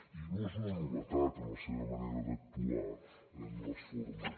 i no és una novetat en la seva manera d’actuar en les formes